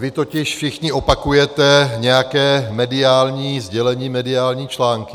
Vy totiž všichni opakujete nějaké mediální sdělení, mediální články.